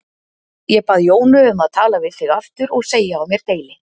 Ég bað Jónu um að tala við þig aftur og segja á mér deili.